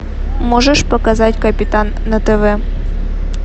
можешь показать капитан на тв